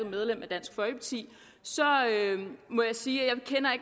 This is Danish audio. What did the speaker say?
medlem af dansk folkeparti må jeg sige at jeg